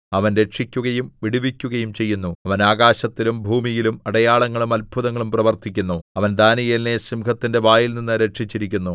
അവൻ രക്ഷിക്കുകയും വിടുവിക്കുകയും ചെയ്യുന്നു അവൻ ആകാശത്തിലും ഭൂമിയിലും അടയാളങ്ങളും അത്ഭുതങ്ങളും പ്രവർത്തിക്കുന്നു അവൻ ദാനീയേലിനെ സിംഹത്തിന്റെ വായിൽനിന്ന് രക്ഷിച്ചിരിക്കുന്നു